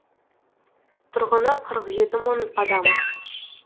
тұрғыны қырық жеті мың адам